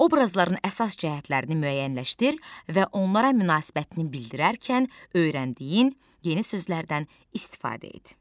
Obrazların əsas cəhətlərini müəyyənləşdir və onlara münasibətini bildirərkən öyrəndiyin yeni sözlərdən istifadə et.